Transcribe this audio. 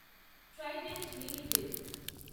Trident limited